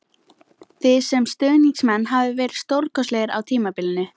Þið sem stuðningsmenn hafið verið stórkostlegir á tímabilinu